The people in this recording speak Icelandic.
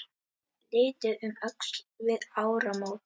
Litið um öxl við áramót.